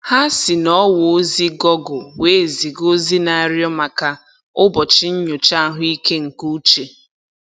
Ha si n'ọwa ozi gọgụl wee ziga ozi na-arịọ maka ụbọchị nnyocha ahụike nke uche